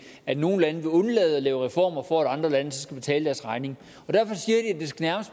at nogle lande vil undlade at lave reformer for at andre lande så skal betale deres regning